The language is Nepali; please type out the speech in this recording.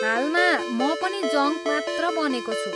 हालमा, म पनि जङ्क मात्र बनेको छु!